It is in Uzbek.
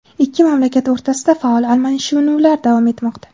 ikki mamlakat o‘rtasida faol almashinuvlar davom etmoqda.